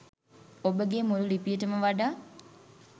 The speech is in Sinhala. ඔබගේ මුළු ලිපියටම වඩා